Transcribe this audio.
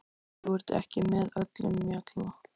Þú ert ekki með öllum mjalla